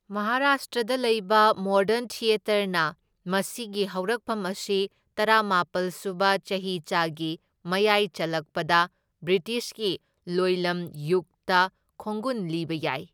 ꯃꯍꯥꯔꯥꯁꯇ꯭ꯔꯗ ꯂꯩꯕ ꯃꯣꯗꯔꯟ ꯊꯤꯌꯦꯇꯔꯅ ꯃꯁꯤꯒꯤ ꯍꯧꯔꯛꯐꯝ ꯑꯁꯤ ꯇꯔꯥꯃꯥꯄꯜ ꯁꯨꯕ ꯆꯍꯤꯆꯥꯒꯤ ꯃꯌꯥꯏ ꯆꯜꯂꯛꯄꯗ ꯕ꯭ꯔꯤꯇꯤꯁꯀꯤ ꯂꯣꯏꯂꯝ ꯌꯨꯒꯇ ꯈꯣꯡꯒꯨꯟ ꯂꯤꯕ ꯌꯥꯏ꯫